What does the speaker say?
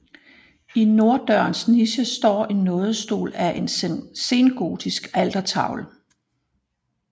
I norddørens niche står en Nådestol fra en sengotisk altertavle